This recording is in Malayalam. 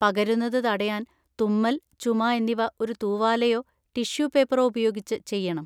പകരുന്നത് തടയാൻ തുമ്മൽ, ചുമ എന്നിവ ഒരു തൂവാലയോ ടിഷ്യൂ പേപ്പറോ ഉപയോഗിച്ച് ചെയ്യണം.